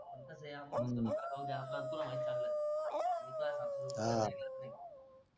कसंय रे आपण म्हणतो नका रे जाऊद्या आपला तुला माहिती आहे चांगलाच